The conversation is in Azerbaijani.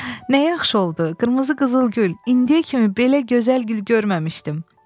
Nə yaxşı oldu, qırmızı qızıl gül, indiyə kimi belə gözəl gül görməmişdim.